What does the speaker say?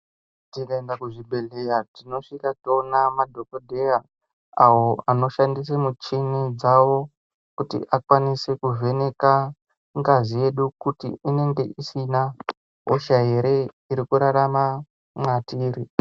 Tikaenda kuzvibhedhlera tinosivaka toona madhokodheya awo anoshandisa michini dzawo kuti akwanise kuvheneka ngazi yedu kuti inge Sina hosha here iri kurarama matiri.